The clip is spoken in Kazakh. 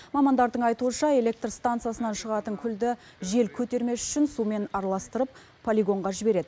мамандардың айтуынша электр станциясынан шығатын күлді жел көтермес үшін сумен араластырып полигонға жібереді